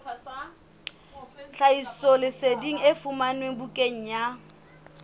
tlhahisoleseding e fumanwe bukaneng ya